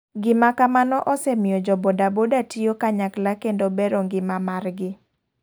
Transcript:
Gima kamano osemiyo jo boda boda tiyo kanyakla kendo bero ng'ima mar gi.